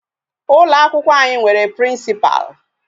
Ụlọ akwụkwọ anyị nwere Principal.